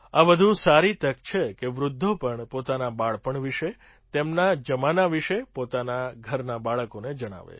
આ વધુ સારી તક છે કે વૃદ્ધો પણ પોતાના બાળપણ વિશે તેમના જમાના વિશે પોતાનાં ઘરનાં બાળકોને જણાવે